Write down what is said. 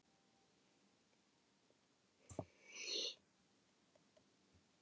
kerfinu í hæsta máta grunsamlegir, þessa nótt af öllum nótt